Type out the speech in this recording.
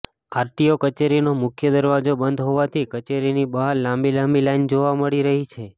RTO કચેરીનો મુખ્ય દરવાજો બંધ હોવાથી કચેરીની બહાર લાંબી લાંબી લાઈન જોવા મળી રહી છે